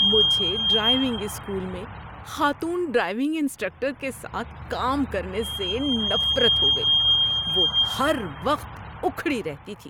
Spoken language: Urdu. مجھے ڈرائیونگ اسکول میں خاتون ڈرائیونگ انسٹرکٹر کے ساتھ کام کرنے سے نفرت ہو گئی۔ وہ ہر وقت اکھڑی رہتی تھی۔